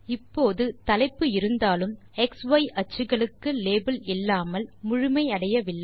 இப்போது தலைப்பு இருந்தாலும் எக்ஸ் ய் அச்சுக்களுக்கு லேபிள் இல்லாமல் முழுமை அடையவில்லை